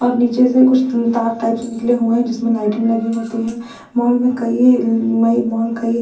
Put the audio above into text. और नीचे से कुछ तीर तार टाइप से निकले हुए हैं जिसमें लाइटिंग लगी होती है मॉल में कई नई मॉल कई --